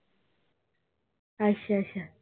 ਅੱਛਾ-ਅੱਛਾ